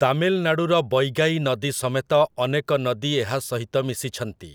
ତାମିଲନାଡୁର ବୈଗାଇ ନଦୀ ସମେତ ଅନେକ ନଦୀ ଏହା ସହିତ ମିଶିଛନ୍ତି ।